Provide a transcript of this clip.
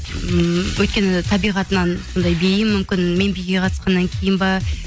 ммм өйткені табиғатынан сондай бейім мүмкін мен биге қатысқаннан кейін бе